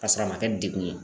K'a sɔrɔ a ma kɛ degun ye